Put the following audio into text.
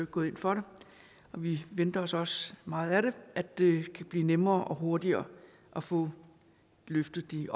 gået ind for det og vi venter os også meget af at det bliver nemmere og hurtigere at få løftet de